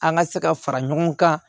An ka se ka fara ɲɔgɔn kan